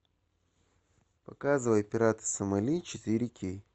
показывай пираты сомали четыре кей